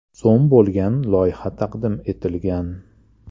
so‘m bo‘lgan loyiha taqdim etilgan.